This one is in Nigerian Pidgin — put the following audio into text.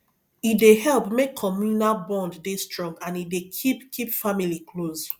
e dey help make communal bond dey strong and e dey keep keep family close